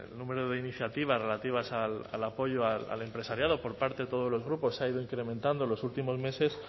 número de iniciativas relativas al apoyo al empresariado por parte de todos los grupos se ha ido incrementando en los últimos meses